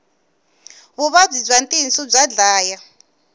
vuvabyi bya tinsu bya dlaya